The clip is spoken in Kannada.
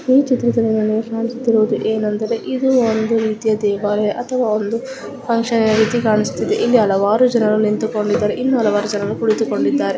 ಈ ಚಿತ್ರದಲ್ಲಿ ನಮಗೆ ಕಾಣಿಸುತ್ತ ಇರುವುದೇನೆಂದರೆ ಇದು ಒಂದು ರೀತಿಯ ದೇವಾಲಯ ಅಥವಾ ಫುನ್ಕ್ಷನ್ ರೀತಿ ಕಾಣಿಸುತಿದ್ದಷ್ಟೇ ಇಲ್ಲಿ ಹಲವಾರು ಜನ ನಿಂತುಕೊಂಡಿದ್ದಾರೆ ಇನ್ನು ಹಲವಾರು ಜನರು ಕುಳಿತುಕೊಂಡಿದ್ದಾರೆ.